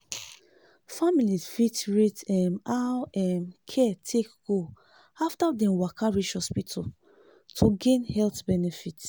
family fit rate um how um care take go after dem waka reach hospital to gain health benefit.